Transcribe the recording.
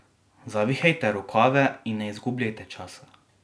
Zavihajte rokave in ne izgubljajte časa!